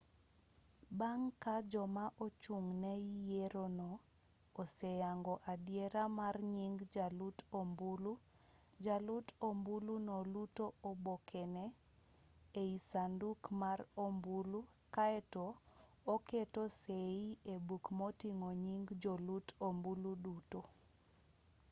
bang' ka joma ochung' ne yierono oseyango adiera mar nying jalut ombulu jalut ombuluno luto obokene ei sanduku mar ombulu kaeto oketo sei e buk moting'o nying jolut ombulu duto